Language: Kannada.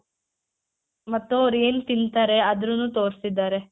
ಮತ್ತು ಅವ್ರೆನ್ ತಿಂತಾರೆ ಅದುನ್ನು ತೋರ್ಸಿದ್ದಾರೆ.